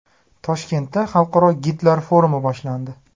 Toshkentda xalqaro gidlar forumi boshlandi.